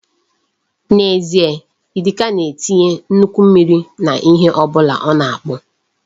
N'ezie, Idika na-etinye nnukwu mmiri n'ihe ọ bụla ọ na-akpụ.